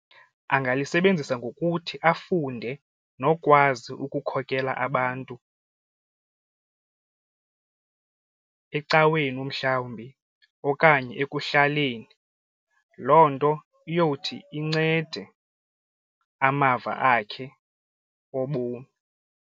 Agalisebenzisa ngokuthi afunde nokwazi ukukhokela abantu ecaweni umhlawumbi okanye ekuhlaleni. Loo nto iyowuthi incede amava akhe obomi.